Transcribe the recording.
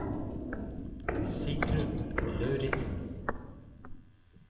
Sigrunn Lauritzen